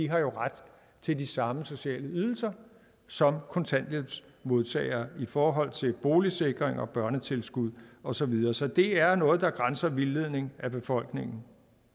har ret til de samme sociale ydelser som kontanthjælpsmodtagere i forhold til boligsikring og børnetilskud og så videre så det er noget der grænser til vildledning af befolkningen